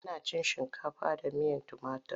Ana cin shinkafa da miyar tumatir.